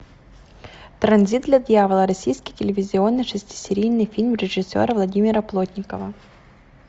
транзит для дьявола российский телевизионный шестисерийный фильм режиссера владимира плотникова